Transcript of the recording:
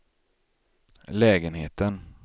lägenheten